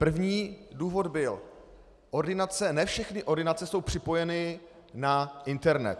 První důvod byl: Ne všechny ordinace jsou připojeny na internet.